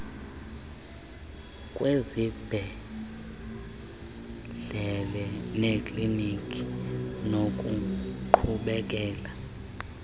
kwezibhedlele neekliniki nokuqhubekeka